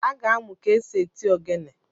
Aga amụ ka-esi eti ogene